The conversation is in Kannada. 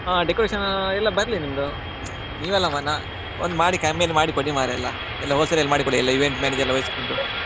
ಆ decoration ಎಲ್ಲ ಬರ್ಲಿ ನಿಮ್ಮದು ನೀವಲ್ಲ ಮರ್ರೆ ಒಂದು ಮಾಡಿ ಕಮ್ಮಿಯಲ್ಲಿ ಮಾಡಿ ಕೊಡಿ ಮಾರೆ ಎಲ್ಲ ಎಲ್ಲ wholesale ಅಲ್ಲಿ ಮಾಡಿ ಕೊಡಿ ಎಲ್ಲ event management ಎಲ್ಲ ವಹಿಸ್ಕೊಂಡು.